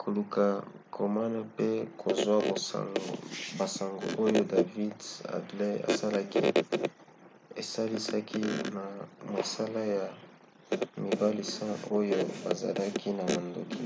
koluka komona pe kozwa basango oyo david headley asalaki esalisaki na mosala ya mibali 10 oyo bazalaki na mandoki